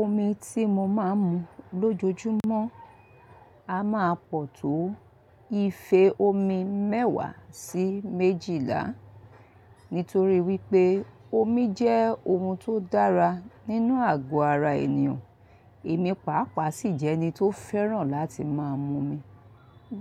Omi tí mo máa ń mu lójoojúmọ́ a máa pọ̀ tó ife omi mẹ́wàá sí méjìlá. Nítorí wípé omi jẹ́ ohun tó dára nínú àgọ́ ara ènìyàn. Èmi pàápàá sì jẹ́ ẹni tó fẹ́ràn láti máa mu omi.